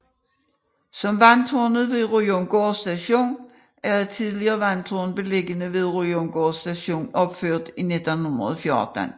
Vandtårnet ved Ryomgård Station er et tidligere vandtårn beliggende ved Ryomgård Station opført i 1914